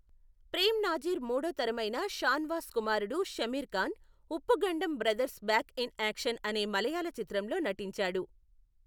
ప్రేమ్ నాజీర్ మూడో తరమైన షానవాస్ కుమారుడు Shameer Khan, Uppukandam brothers back in action అనే మలయాళ చిత్రంలో నటించాడు.